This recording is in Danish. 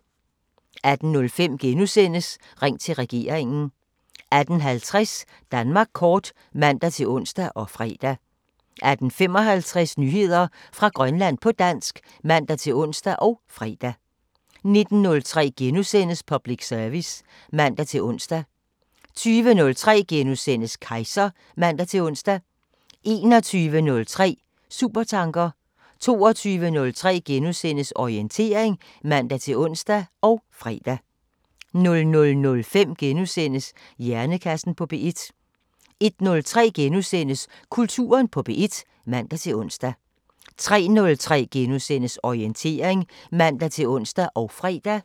18:05: Ring til regeringen * 18:50: Danmark kort (man-ons og fre) 18:55: Nyheder fra Grønland på dansk (man-ons og fre) 19:03: Public service *(man-ons) 20:03: Kejser *(man-ons) 21:03: Supertanker 22:03: Orientering *(man-ons og fre) 00:05: Hjernekassen på P1 * 01:03: Kulturen på P1 *(man-ons) 03:03: Orientering *(man-ons og fre)